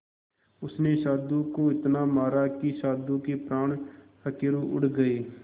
उसने साधु को इतना मारा कि साधु के प्राण पखेरु उड़ गए